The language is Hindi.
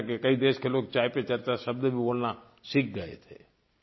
दुनिया के कई देश के लोग चाय पर चर्चा शब्द भी बोलना सीख गए थे